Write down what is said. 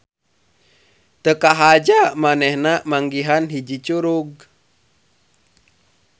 Teu kahaja manehna manggihan hiji curug.